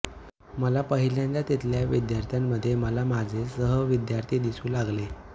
मला पहिल्यांदा तिथल्या विद्यार्थ्यांमध्ये मला माझे सहविद्यार्थी दिसू लागले